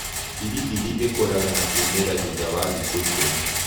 Biliibili ĩkũraga na kumĩra thutha wa thikũ ikũmi.